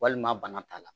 Walima bana t'a la